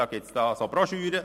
Es gibt solche Broschüren.